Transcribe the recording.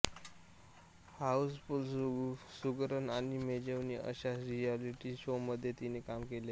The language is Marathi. हाऊसफुल्ल सुगरण आणि मेजवानी अशा रिएलिटी शोमध्ये तिने काम केले आहे